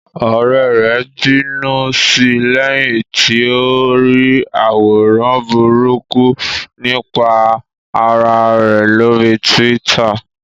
Ọ̀rẹ́ rẹ̀ bínú sí lẹ́yìn tí ó rí àwòrán burúkú nípa ara ẹ̀ lórí Twitter